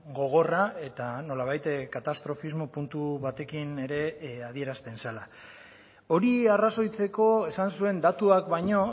gogorra eta nolabait katastrofismo puntu batekin ere adierazten zela hori arrazoitzeko esan zuen datuak baino